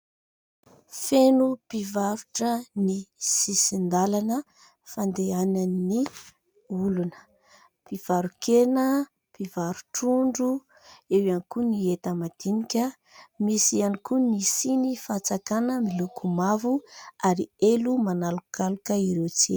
Feno mpivarotra ny sisin-dalana fandehanan'ny olona, mpivaro-kena, mpivaro-trondro eo ihany koa ny enta-madinika, misy ihany koa ny siny fatsakana miloko mavo ary elo manalokaloka ireo tsena.